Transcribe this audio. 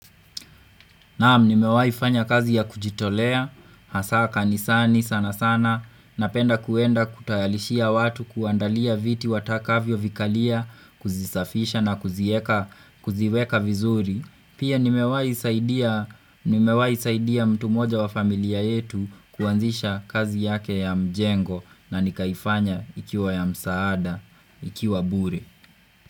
Naam, nimewai fanya kazi ya kujitolea, hasa kanisani sana sana, napenda kuenda kutayalishia watu kuandalia viti watakavyo vikalia, kuzisafisha na kuziweka vizuri. Pia nimewaisaidia mtu mmoja wa familia yetu kuanzisha kazi yake ya mjengo na nikaifanya ikiwa ya msaada, ikiwa bure.